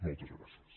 moltes gràcies